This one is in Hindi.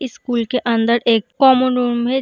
इस स्कूल के अंदर एक कॉमन रूम है।